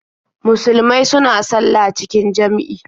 Musulmai suna sallah cikin jam'i.